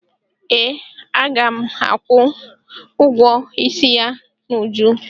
Ee, a ga m akwụ ụgwọ isi ya n'uju